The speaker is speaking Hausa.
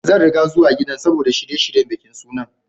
Zan ringa zuwa gidan saboda shirye-shiryen bikin sunan.